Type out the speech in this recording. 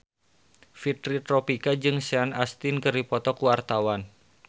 Fitri Tropika jeung Sean Astin keur dipoto ku wartawan